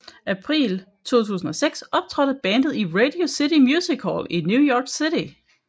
April 2006 optrådte bandet i Radio City Music Hall i New York City